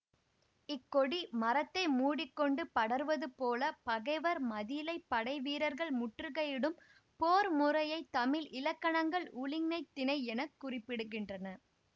இக் கொடி மரத்தை மூடி கொண்டு படர்வதுபோல பகைவர் மதிலைப் படை வீரர்கள் முற்றுகையிடும் போர்முறையைத் தமிழ் இலக்கணங்கள் உழிஞைத் திணை என குறிப்பிடுகின்றன